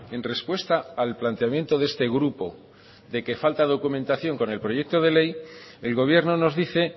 en respuesta al planteamiento de este grupo de que falta documentación con el proyecto de ley el gobierno nos dice